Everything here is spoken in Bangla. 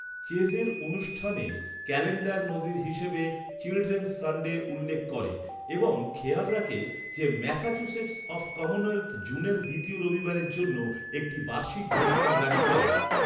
চেজের অনুষ্ঠানের ক্যালেন্ডার নজির হিসেবে চিলড্রেনস সানডে উল্লেখ করে এবং খেয়াল রাখে যে ম্যাসাচুসেটস অফ কমনওয়েলথ জুনের দ্বিতীয় রবিবারের জন্য একটি বার্ষিক ঘোষণা জারি করে।